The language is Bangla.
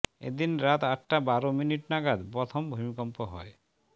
এদিন রাত আটটা বারো মিনিট নাগাদ প্রথম ভূমিকম্প হয়